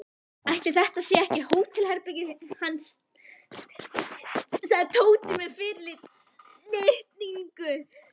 Ætli þetta sé ekki hótelherbergið hans sagði Tóti með fyrirlitningu.